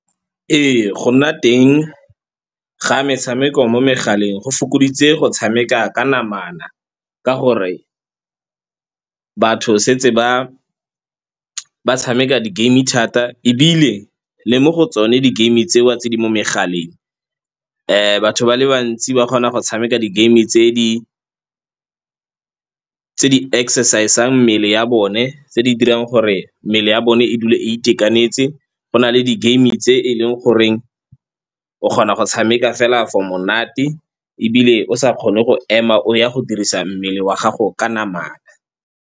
Ee, go nna teng ga metshameko mo megaleng go fokoditse go tshameka ka namana ka gore batho setse ba tshameka di-game thata. Ebile le mo go tsone di-game tseo tse di mo megaleng, batho ba le bantsi ba kgona go tshameka di-game tse di-exercise-ang mmele ya bone, tse di dirang gore mmele ya bone e dula e itekanetse. Go na le di-game tse e leng goreng o kgona go tshameka fela for monate ebile o sa kgone go ema o ya go dirisa mmele wa gago ka namana.